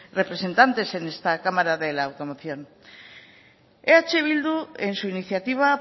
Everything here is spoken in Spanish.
representantes en esta cámara de la automoción eh bildu en su iniciativa